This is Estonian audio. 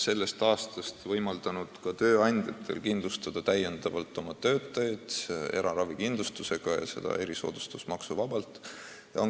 Sellest aastast võimaldatakse ka tööandjatel kindlustada oma töötajaid eraravikindlustusega ja seda erisoodustusmaksuta.